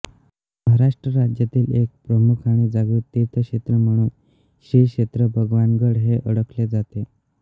महाराष्ट्र राज्यातील एक प्रमुख आणि जागृत तीर्थक्षेत्र म्हणून श्रीक्षेत्र भगवानगड हे ओळखले जाते